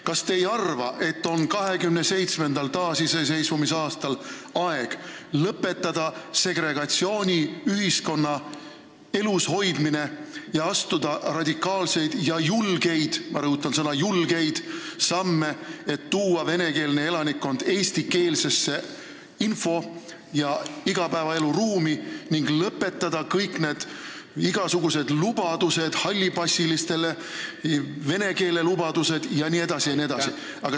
Kas te ei arva, et taasiseseisvunud Eesti 27. aastal on aeg lõpetada segregatsiooniühiskonna elus hoidmine, astuda radikaalseid ja julgeid – ma rõhutan sõna "julgeid" – samme, et tuua venekeelne elanikkond eestikeelsesse info- ja igapäevaelu ruumi, ning lõpetada kõikide nende lubaduste andmine, mis on seotud hallipassiliste või vene keelega, jne, jne?